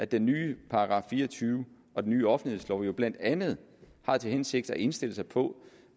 den nye § fire og tyve og den ny offentlighedslov jo blandt andet har til hensigt at indstille sig på